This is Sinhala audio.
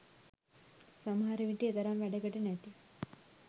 සමහර විට එතරම් වැඩකට නැති